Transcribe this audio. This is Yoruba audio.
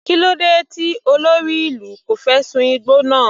Kílódé tí olórí ìlú kò fẹ́ sun igbó náà.